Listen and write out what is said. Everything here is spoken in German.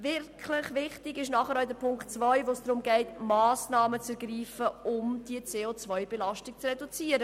Wirklich wichtig ist nachher auch die Ziffer 2, bei der es darum geht, Massnahmen zu ergreifen, um die CO-Belasung zu reduzieren.